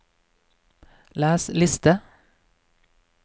les liste